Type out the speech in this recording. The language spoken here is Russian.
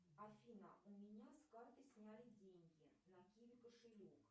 афина у меня с карты сняли деньги на киви кошелек